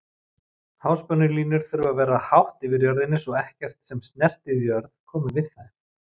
Háspennulínur þurfa að vera hátt yfir jörðinni svo ekkert sem snertir jörð komi við þær.